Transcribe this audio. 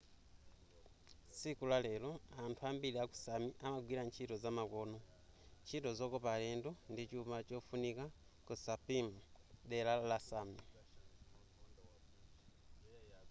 tsiku la lero anthu ambiri ku sámi amagwira ntchito zamakono. ntchito zokopa alendo ndichuma chofunika ku sápmi dera la sámi